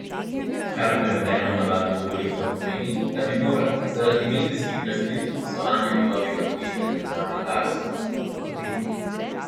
Kar prevedeno v navadno govorico pomeni, da bi moral zaradi medijskih razkritij poslovanja njegovega podjetja z državnim Darsom, odstopiti.